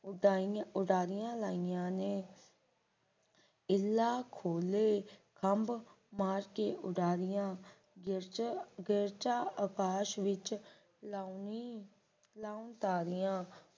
ਉਡਾਰੀਆਂ ਉਡਾਰੀਆਂ ਲਾਈਆਂ ਨੇ ਇਲਾਹ ਕੋਲੋਂ ਖੰਭ ਮਾਰ ਕੇ ਉਡਾਰੀਆਂ ਗਿਰਝਾਂ ਗਿਰਝਾਂ ਅਕਾਸ਼ ਵਿਚ ਲਾਉ ਨੀ ਲਾਉਨ ਤਾਰਿਆਂ